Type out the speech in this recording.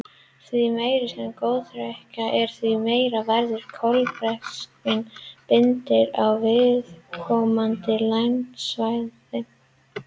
Því meiri sem gróðurþekjan er, því meiri verður kolefnisbindingin á viðkomandi landsvæði.